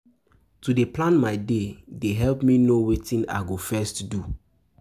To dey plan my day dey help me know wetin I go first do.